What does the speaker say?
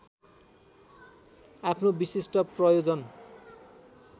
आफ्नो विशिष्ट प्रयोजन